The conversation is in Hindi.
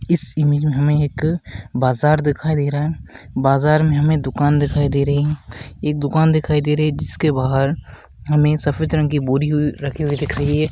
इस इमेज में हमें एक बाजार दिखाई दे रहा है बाजार में हमें दुकान दिखाई दे रही है एक दुकान दिखाई दे रही है जिसके बाहर हमें सफेद रंग की बोरी रखी हुई दिख रही है।